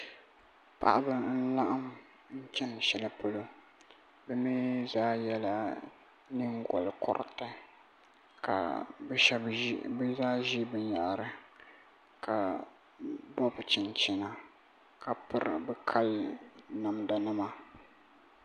Paɣaba n laɣam n chɛni shɛli polo bi mii zaa yɛla nyingokoriti ka bi zaa ʒi binyahri ka bobi chinchina ka piri bi kali namda nima